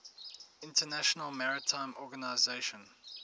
international maritime organization